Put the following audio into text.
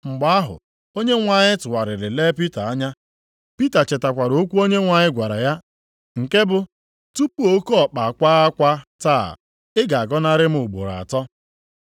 Mgbe ahụ, Onyenwe anyị tụgharịrị lee Pita anya. Pita chetakwara okwu Onyenwe anyị gwara ya nke bụ, “Tupu oke ọkpa akwa akwa taa, ị ga-agọnarị m ugboro atọ.”